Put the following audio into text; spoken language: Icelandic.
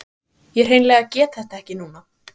Ég hreinlega get þetta ekki núna.